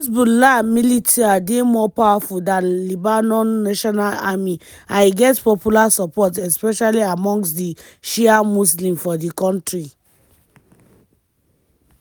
hezbollah militia dey more powerful dan lebanon national army and e get popular support especially amongst di shia muslims for di kontri.